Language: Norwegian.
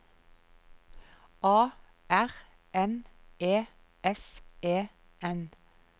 A R N E S E N